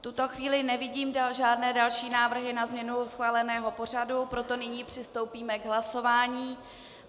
V tuto chvíli nevidím žádné další návrhy na změnu schváleného pořadu, proto nyní přistoupíme k hlasování.